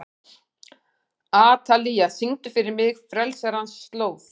Atalía, syngdu fyrir mig „Frelsarans slóð“.